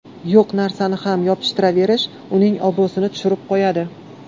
Yo‘q narsani ham yopishtiraverish uning obro‘sini tushirib qo‘yadi.